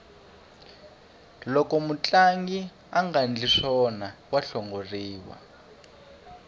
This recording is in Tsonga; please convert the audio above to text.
loko mutlangi angandli swona wa hlongoriwa